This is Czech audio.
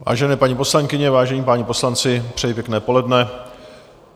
Vážené paní poslankyně, vážení páni poslanci, přeji pěkné poledne.